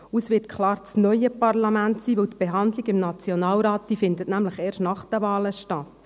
Es wird klar das neue Parlament sein, weil die Behandlung im Nationalrat erst nach den Wahlen stattfindet.